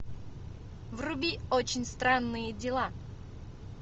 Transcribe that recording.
вруби очень странные дела